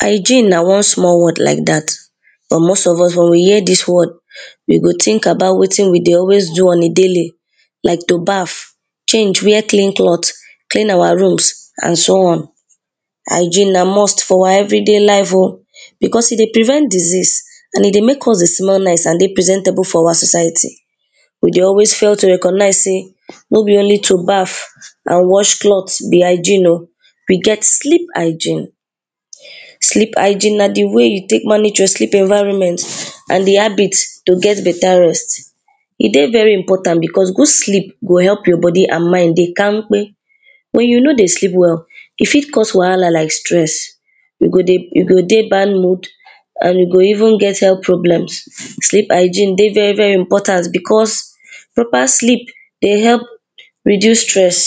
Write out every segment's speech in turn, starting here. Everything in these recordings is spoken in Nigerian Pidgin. Hygiene na one small word like dat, but most of us wen wey hear dis word we go think about wetin we dey always do on a daily, like to baf, change, wear clean clothe, clean our rooms and so on. Hygiene na must for our everyday life oh, because e dey prevent disease and make us dey smell nice and dey presentable for our society. We dey always fail to recognise sey, no be only to baf, and wear cloth ne hygiene oh, we get sleep hygiene, v sleep hygiene na di way you take manage your environment and di habit to get better rest. E dey very important because good sleep go help your body and mind dey kamkpe. Wen you no dey sleep well, e fit cause wahala like stress, you go dey, you go dey bad mood, and you go even get health problems. sleep hygiene dey very very important because, proper sleep dey help reduce stress.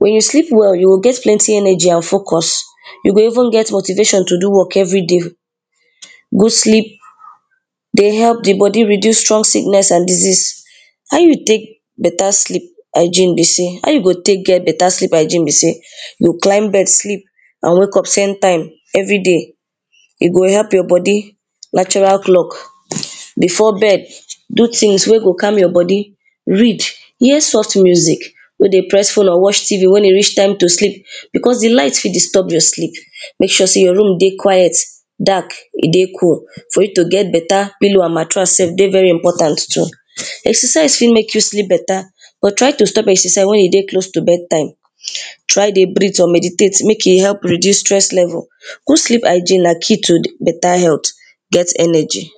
Wen you sleep well, you go get plenty energy and focus, you go even get motivation to do work every day. Good sleep dey help di body reduce strong sickness and disease. How you take better sleep hygiene be sey, how you go take get better sleep hygiene be sey, you climb bed, sleep and wake up same time, everyday e go help your body natural clock. Before bed, do things wey go calm your body, read, hear soft music, no dey press phone or watch T.V wen e reach time to sleep, because di light fit disturb your sleep, make sure sey your room dey quiet, dark, e dey cool. Fro you to get better pillow and matrass sef dey very important too. Exercise fit help you sleep better, but try to stop exercise wen you dey close to bed time, try dey breathe or meditate make e help reduce stress level. good sleep hygiene na key to better health, get energy.